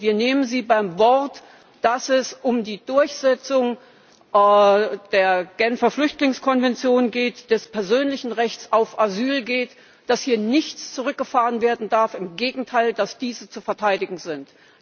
Wir nehmen Sie beim Wort, dass es um die Durchsetzung der Genfer Flüchtlingskonvention, des persönlichen Rechts auf Asyl geht, dass hier nichts zurückgefahren werden darf, im Gegenteil, dass diese zu verteidigen sind.